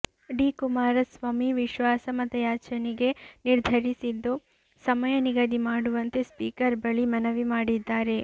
D Kumaraswamy ವಿಶ್ವಾಸ ಮತಯಾಚನೆಗೆ ನಿರ್ಧರಿಸಿದ್ದು ಸಮಯ ನಿಗದಿ ಮಾಡುವಂತೆ ಸ್ಪೀಕರ್ ಬಳಿ ಮನವಿ ಮಾಡಿದ್ದಾರೆ